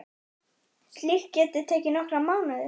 Slíkt geti tekið nokkra mánuði.